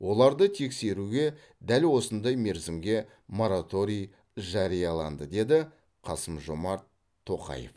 оларды тексеруге дәл осындай мерзімге мораторий жарияланды деді қасым жомарт тоқаев